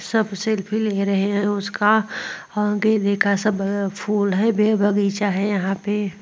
सब सेल्फी ले रहे हैं उसका लेखा सब फूल हैं। बे बगीचा है यहाँ पे।